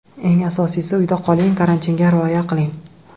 Eng asosiysi, uyda qoling, karantinga rioya qiling.